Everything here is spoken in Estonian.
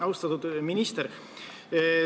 Austatud minister!